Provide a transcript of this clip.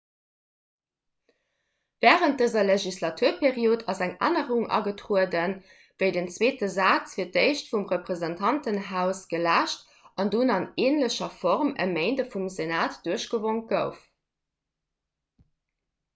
wärend dëser legislaturperiod ass eng ännerung agetrueden wéi den zweete saz fir d'éischt vum repräsentantenhaus geläscht an dunn an änlecher form e méindeg vum senat duerchgewonk gouf